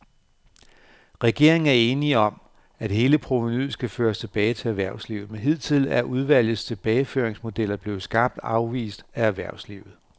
Regeringen er enig om, at hele provenuet skal føres tilbage til erhvervslivet, men hidtil er udvalgets tilbageføringsmodeller blevet skarpt afvist af erhvervslivet.